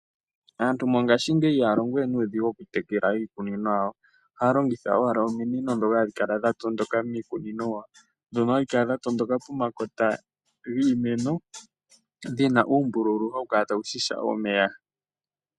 Aantu mongaashingeyi ihaya longo we nuudhigu oku tekela iikunino yawo ohaya longitha owala ominino ndono dhatondoka miikunino yawo. Ndhono hadhi kala dhatondoka pomakota giimeno, dhina uumbululu mbono hawu kala tawu shisha omeya.